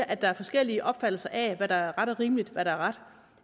at der er forskellige opfattelser af hvad der er rimeligt og hvad der er ret